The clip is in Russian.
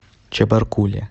чебаркуле